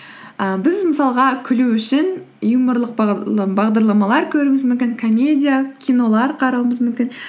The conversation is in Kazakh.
і біз мысалға күлу үшін юморлық бағдарламалар көруіміз мүмкін комедия кинолар қарауымыз мүмкін